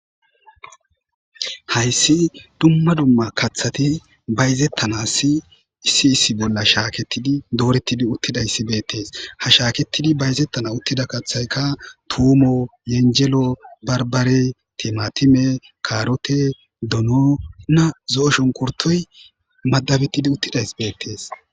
Hayssi dumma dumma kaththati bayzettana si issi issi bolla shaaketidi doorettidi uttidayssi beettees ha shaaketidi bayzettana uttida kaththayka tuumo yenjelo barbare timatime kaarote donona zo7oshonkurtoy madabettidi uttidays beettees